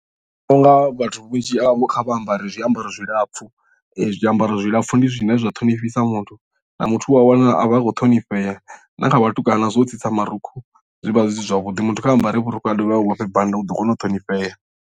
Nṋe ndi vhona unga vhathu vhunzhi havho kha vha ambare zwiambaro zwilapfhu zwiambaro zwilapfhu ndi zwine zwa ṱhonifhisa muthu na muthu uwa wana a vha a khou ṱhonifhea na kha vhatukana zwo tsitsa marukhu zwi vha zwi si zwavhuḓi muthu kha ambare vhurukhu a dovhe a vhofhe bannda u ḓo kona u ṱhonifhea.